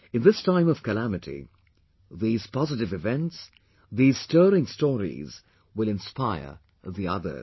In this time of calamity, these positive events, these stirring stories will inspire the others